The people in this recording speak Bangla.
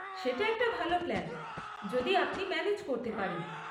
সেটা একটা ভাল প্ল্যান, যদি আপনি ম্যানেজ করতে পারেন।